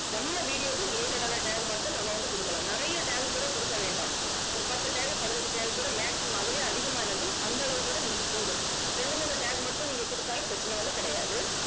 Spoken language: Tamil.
நம்ம video க்கு related ஆன tag மட்டும் நம்ம வந்து குடுக்கலாம். நிறையா tag கூட குடுக்க வேண்டாம் ஒரு பத்து tag பதினஞ்சு tag கூட maximum அதுவே அதிகமானது. அந்த அளவுக்கு கூட நமக்கு போதும். ரெண்டு மூணு tag மட்டும் நீங்க குடுத்தாலும் பிரச்சனை வந்து கிடையாது